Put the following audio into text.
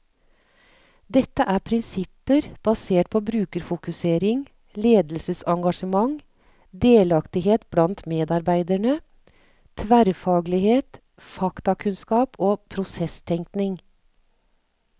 Dette er prinsipper basert på brukerfokusering, ledelsesengasjement, delaktighet blant medarbeiderne, tverrfaglighet, faktakunnskap og prosesstenkning.